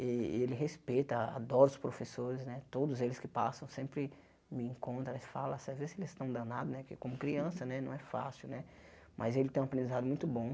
Ele respeita, adora os professores né, todos eles que passam, sempre me encontra eles falam, às vezes eles estão danados né, porque como criança né não é fácil, mas ele tem um aprendizado muito bom.